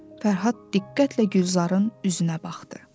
Fərhad diqqətlə Gülzarın üzünə baxdı.